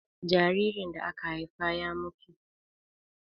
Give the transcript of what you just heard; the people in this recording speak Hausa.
jaririn da aka Haifa ya mutu